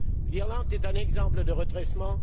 L'Irlande est un exemple de redressement.